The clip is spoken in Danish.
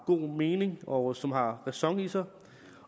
god mening og som har ræson i sig